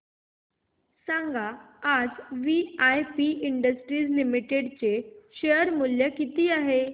सांगा आज VIP industries limited चे शेअर चे मूल्य किती आहे